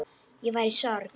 Ég var í sorg.